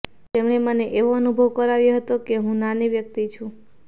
તેમણે મને એવો અનુભવ કરાવ્યો હતો કે હું નાની વ્યક્તિ છું